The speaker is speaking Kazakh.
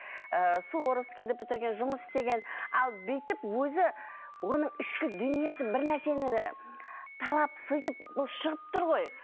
ііі суворовскиді бітірген жұмыс істеген ал бүйтіп өзі оның ішкі дүниесі бір нәрсені талап сөйтіп бұл шығып тұр ғой